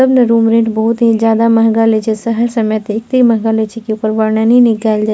सब में room rent बहुत ही ज्यादा महंगा लेइ छै शहर समय ते एते महंगा लेइ छी के की ओकर वर्णन निकल जाइ।